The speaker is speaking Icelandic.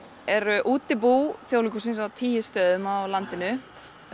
eru útibú Þjóðleikhússins á tíu stöðum á landinu